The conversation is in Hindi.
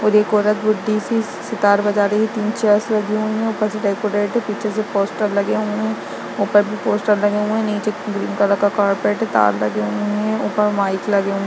और एक औरत बुड्ढी-सी सितार बजा रही है तीन चेयर्स लगी हुई है ऊपर से डेकोरेट हैं पीछे से पोस्टर लगे हुए हैं ऊपर भी पोस्टर लगे हुए है नीचे ग्रीन कलर का कारपेट हैं तार लगे हुए हैं ऊपर माइक लगे हैं।